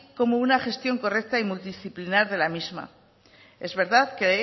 como una gestión correcta y multidisciplinar de la misma es verdad que